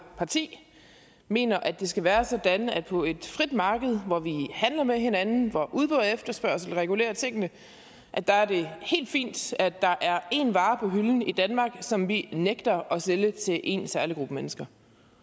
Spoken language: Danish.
parti mener at det skal være sådan at på et frit marked hvor vi handler med hinanden hvor udbud og efterspørgsel regulerer tingene er det helt fint at der er en vare på hylden i danmark som vi nægter at sælge til en særlig gruppe mennesker